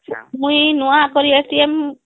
ମୁଇଁ ନୁଆଁ କରି